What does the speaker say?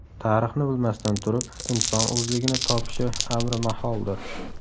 Tarixni bilmasdan turib inson o‘zligini topishi amri maholdir.